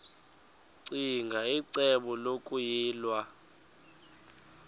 ccinge icebo lokuyilwa